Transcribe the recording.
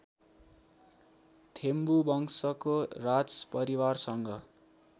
थेम्बु वंशको राजपरिवारसँग